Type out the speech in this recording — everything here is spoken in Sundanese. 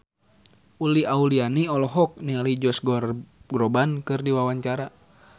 Uli Auliani olohok ningali Josh Groban keur diwawancara